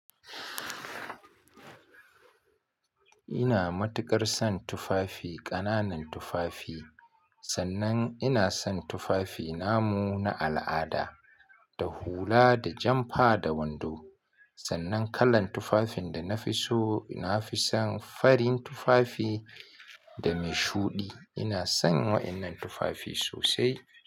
Ina matuƙar son tufafi, ƙananan tufafi sannan ina son tufafi namu na al'ada, da hula da janfa da wando. Sannan kalar tufafin da na fi so, na fi son farin tufafi da mai shuɗi. Ina son waɗannan tufafi sosai.